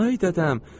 Vay dədəm!